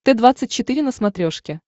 т двадцать четыре на смотрешке